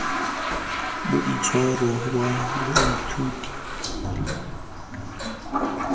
boitshwaro wa baithuti mo sekolong